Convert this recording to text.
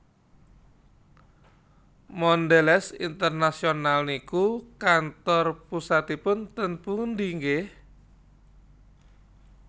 Mondelez International niku kantor pusatipun teng pundi nggeh?